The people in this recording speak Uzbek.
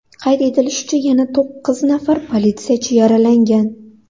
Qayd etilishicha, yana to‘qqiz nafar politsiyachi yaralangan.